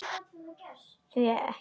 Já, því ekki það.